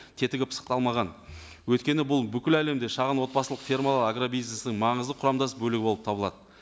тетігі пысықталмаған өйткені бұл бүкіл әлемде шағын отбасылық фермалар агробизнесінің маңызды құрамдас бөлігі болып табылады